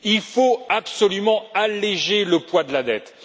Il faut absolument alléger le poids de la dette.